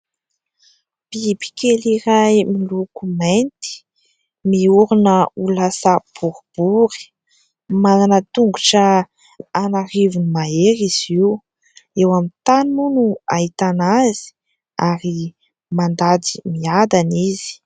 Bibikely iray miloko mainty, miorona ho lasa boribory ; manana tongotra anarivony mahery izy io. Eo amin'ny tany moa no ahitana azy ary mandady miadana izy.